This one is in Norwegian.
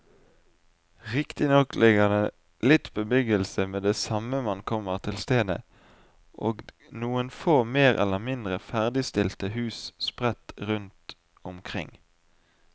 Riktignok ligger det litt bebyggelse med det samme man kommer til stedet og noen få mer eller mindre ferdigstilte hus sprett rundt omkring.